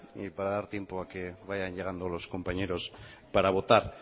para dar tiempo a que vayan llegando los compañeros para votar